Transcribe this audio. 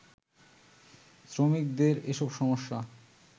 শ্রমিকদের এসব সমস্যা